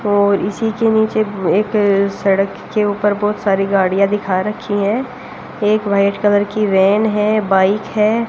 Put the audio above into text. और इसी के नीचे एक अ सड़क के ऊपर बहोत सारी गाड़ियां दिखा रखी हैं एक व्हाइट कलर की वैन है बाइक है।